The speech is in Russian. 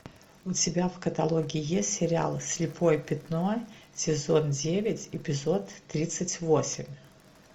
у тебя в каталоге есть сериал слепое пятно сезон девять эпизод тридцать восемь